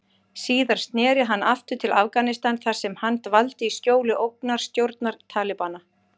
Síðar sneri hann aftur til Afganistan þar sem hann dvaldi í skjóli ógnarstjórnar Talibana.